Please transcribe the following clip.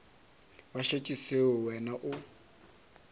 ba šetše seo wena o